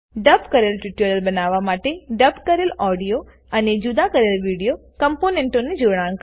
ડબ કરેલ ટ્યુટોરીયલ બનાવવા માટે ડબ કરેલ ઓડીઓ અને જુદા કરેલ વિડીઓ કમ્પોનેન્ટને જોડાણ કરવું